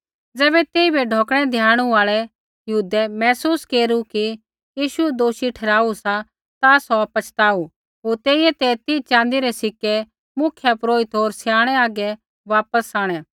ज़ैबै तेइबै ढौकणै द्याणू आल़ै यहूदै महसूस केरू कि यीशू दोषी ठहराऊ सा ता सौ पछताऊ होर तेइयै ते तीह च़ाँदी रै सिक्कै मुख्यपुरोहित होर स्याणै हागै वापस आंणै